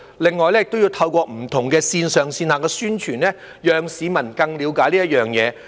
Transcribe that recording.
此外，當局亦要透過不同的線上線下宣傳，讓市民更了解這件事。